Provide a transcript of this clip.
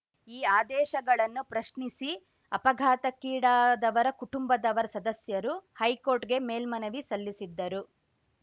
ಈ ಆದೇಶಗಳನ್ನು ಪ್ರಶ್ನಿಸಿ ಅಪಘಾತಕ್ಕೀಡಾದವರ ಕುಟುಂಬದವರ್ ಸದಸ್ಯರು ಹೈಕೋರ್ಟ್‌ಗೆ ಮೇಲ್ಮನವಿ ಸಲ್ಲಿಸಿದ್ದರು